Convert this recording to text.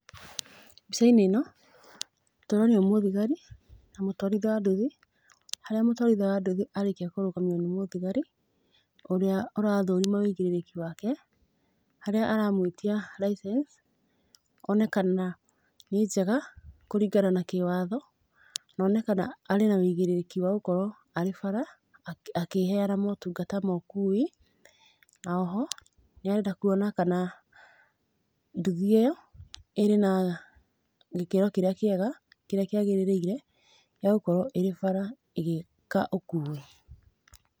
Mbica-inĩ ĩno, tũronio mũthigari, na mũtũarithia wa nduthi, harĩa mũtũarithia wa nduthi arĩkia kũrũgamio nĩ mũthigari, ũrĩa ũrathũrima wigĩrĩrĩki wake, harĩa aramũĩtia license, one kana, nĩ njega, kũringana na kĩ watho, none kana arĩ na wigĩrĩrĩki wa gũkorũo arĩ bara, akĩ, akĩheana motungata ma ũkui, na oho, nĩarenda kuona kana, nduthi ĩyo, ĩrĩ na gĩkĩro kĩrĩa kĩega, kĩrĩa kĩagĩrĩire, gĩa gũkorũo ĩrĩ bara ĩgĩka ũkui.